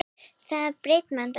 Mikið er brimrót við kletta.